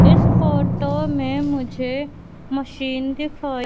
इस फोटो में मुझे मशीन दिखाई--